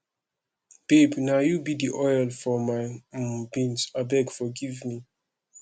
babe na you be the oil for my um beans abeg forgive me